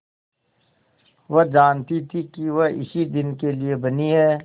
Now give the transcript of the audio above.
वह जानती थी कि वह इसी दिन के लिए बनी है